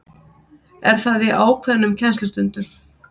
Er það í ákveðnum kennslustundum?